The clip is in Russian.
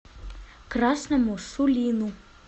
красному сулину